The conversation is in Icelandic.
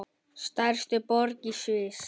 Stærstu borgir í Sviss